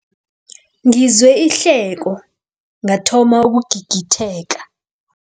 Ngizwe ihleko ngathoma ukugigitheka.